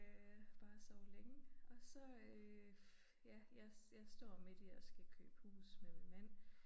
Øh bare at sove længe og så øh ja jeg jeg står midt i at skal købe hus med min mand